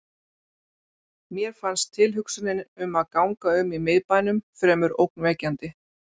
Mér fannst tilhugsunin um að ganga um í miðbænum fremur ógnvekjandi.